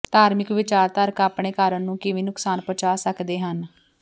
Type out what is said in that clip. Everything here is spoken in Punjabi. ਧਾਰਮਿਕ ਵਿਚਾਰਧਾਰਕ ਆਪਣੇ ਕਾਰਨ ਨੂੰ ਕਿਵੇਂ ਨੁਕਸਾਨ ਪਹੁੰਚਾ ਸਕਦੇ ਹਨ